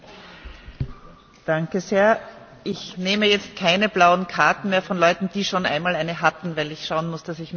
Ich nehme jetzt keine blauen Karten mehr von Leuten, die schon einmal eine hatten, weil ich schauen muss, dass ich mit der Zeit durchkomme bis zu den Abstimmungen.